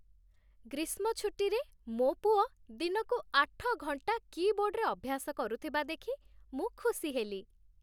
ଗ୍ରୀଷ୍ମ ଛୁଟିରେ, ମୋ ପୁଅ ଦିନକୁ ଆଠ ଘଣ୍ଟା କୀବୋର୍ଡରେ ଅଭ୍ୟାସ କରୁଥିବା ଦେଖି ମୁଁ ଖୁସି ହେଲି।